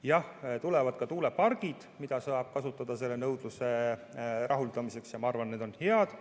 Jah, tulevad ka tuulepargid, mida saab kasutada nõudluse rahuldamiseks, ja ma arvan, et need on head.